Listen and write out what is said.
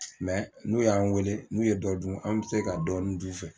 n'u y'an wele n'u ye dɔ dun an bɛ se ka dɔ dun u fɛ.